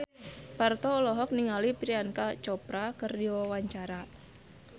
Parto olohok ningali Priyanka Chopra keur diwawancara